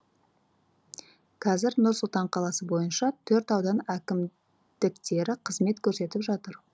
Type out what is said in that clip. қазір нұр сұлтан қаласы бойынша төрт аудан әкімдіктері қызмет көрсетіп жатыр